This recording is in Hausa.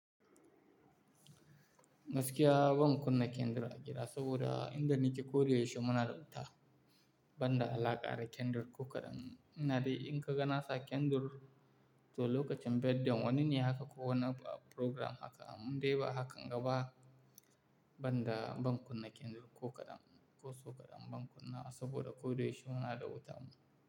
Gaskiya ban kunna kendir a gida saboda inda ni ke koda yaushe muna da wuta, banda alaƙa da kendir ko kaɗan. Ina dai in ka ga nasa kendir, to lokacin birthday wani ne haka ko wani program haka, indai ba hakan gaba, banda ban kunna kendir ko kaɗan, ko so kaɗan ban kunna saboda koda yaushe muna da wuta mu.